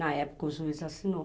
Na época o juiz assinou.